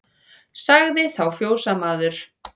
Sagði þá fjósamaður